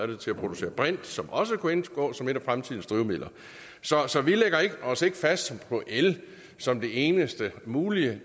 det til at producere brint som også kunne indgå som en af fremtidens drivmidler så så vi lægger os ikke fast på el som det eneste mulige